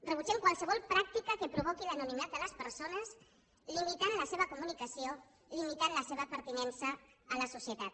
rebutgem qualsevol practica que provoqui l’anonimat de les persones i en limiti la seva comunicació en limiti la seva pertinença a la societat